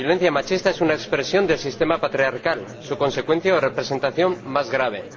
La violencia machista es una expresión del sistema patriarcal, su consecuencia o representación más grave.